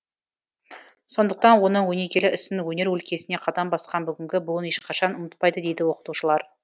сондықтан оның өнегелі ісін өнер өлкесіне қадам басқан бүгінгі буын ешқашан ұмытпайды дейді оқытушылар